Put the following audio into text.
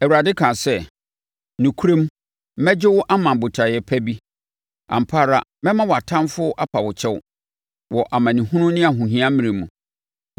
Awurade kaa sɛ, “Nokorɛm mɛgye wo ama botaeɛ pa bi; ampa ara mɛma wʼatamfoɔ apa wo kyɛw wɔ amanehunu ne ahohia mmerɛ mu.